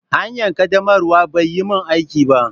Hanyar ƙaddamarwa bai yi min aiki ba.